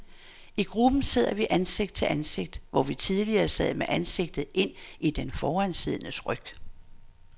I gruppen sidder vi ansigt til ansigt, hvor vi tidligere sad med ansigtet ind i den foransiddendes ryg.